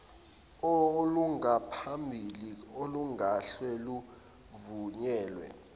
olungaphambili olungahle luvunyelwe